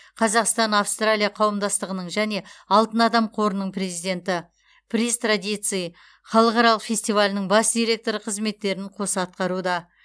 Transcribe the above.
қазақстан австралия қауымдастығының және алтын адам қорының президенті приз традиций халықаралық фестивалінің бас директоры қызметтерін қоса атқаруда